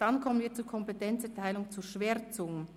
Dann kommen wir zur Kompetenzerteilung zur Schwärzung.